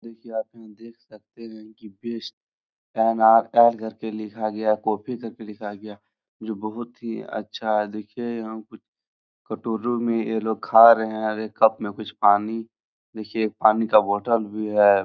देखिए आप यहाँ देख सकते हैं कि बेस्ट घर पे लिखा गया है कॉपी कर के लिखा गया है जो बहुत ही अच्छा है। देखिये यहाँ कुछ कटोरों में ये लोग खा रहें हैं और ये कप में कुछ पानी देखिये पानी का बोतल भी है।